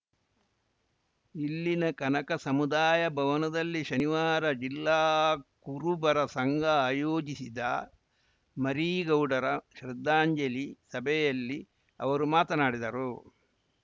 ಇಲ್ಲಿನ ಕನಕ ಸಮುದಾಯ ಭವನದಲ್ಲಿ ಶನಿವಾರ ಜಿಲ್ಲಾ ಕುರುಬರ ಸಂಘ ಆಯೋಜಿಸಿದ್ದ ಮರೀಗೌಡರ ಶ್ರದ್ಧಾಂಜಲಿ ಸಭೆಯಲ್ಲಿ ಅವರು ಮಾತನಾಡಿದರು